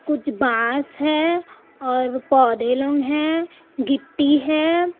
कुछ बांस हैं और पौधे लंग हैं गिट्टी है।